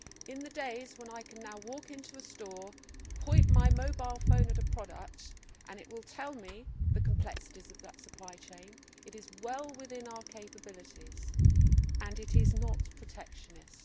In the days when I can now walk into a store, point my mobile phone at a product and it tells me the complexities of that supply chain it is well within our capabilities and it is not protectionist.